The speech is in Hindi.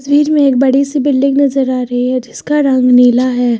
वीर में एक बड़ी सी बिल्डिंग नजर आ रही है जिसका रंग नीला है।